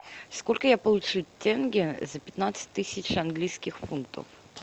сколько я получу тенге за пятнадцать тысяч английских фунтов